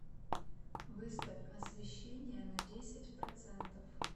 выставь освещение на десять процентов